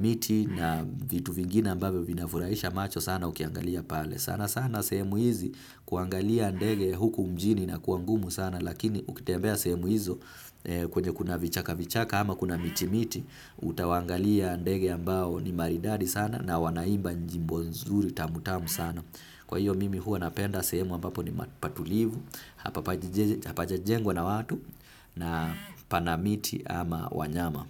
miti na vitu vingine ambavyo vinafurahisha macho sana ukiangalia pale. Sana sana sehemu hizi kuangalia ndege huku mjini inakuwa ngumu sana lakini ukitembea sehemu hizo kwenye kuna vichaka vichaka ama kuna miti miti utawaangalia ndege ambao ni maridadi sana na wanaimba nyimbo nzuri tamu tamu sana. Kwa hiyo mimi huwa napenda sehemu ambapo ni patulivu, hapajajengwa na watu na pana miti ama wanyama.